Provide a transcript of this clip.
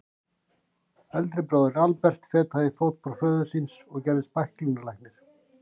Eldri bróðirinn, Albert, fetaði í fótspor föður síns og gerðist bæklunarlæknir.